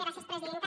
gràcies presidenta